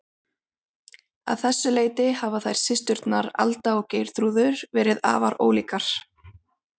Að þessu leyti hafa þær systurnar, Alda og Geirþrúður, verið afar ólíkar.